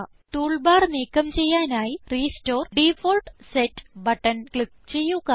tool bar നീക്കം ചെയ്യാനായി restore default set button click ചെയ്യുക